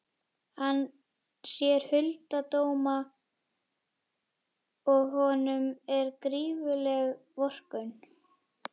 Hann sér hulda dóma og honum er gífurleg vorkunn.